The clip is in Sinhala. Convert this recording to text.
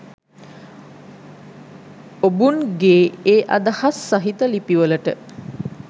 ඔබුන් ගේ ඒ අදහස් සහිත ලිපිවලට